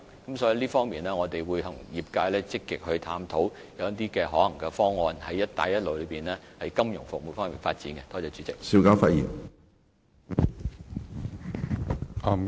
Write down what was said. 因此，關於這方面，我們會與業界積極探討一些可行方案，向"一帶一路"國家及地區推廣香港的金融服務。